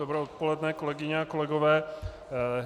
Dobré odpoledne, kolegyně a kolegové.